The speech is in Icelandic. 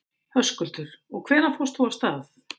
Höskuldur: Og hvenær fórst þú af stað?